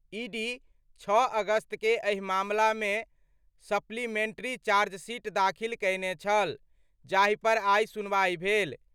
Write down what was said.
ED 6 अगस्त के एहि मामला मे सप्लीमेट्री चार्जशीट दाखिल कएने छल, जाहि पर आइ सुनवाई भेल।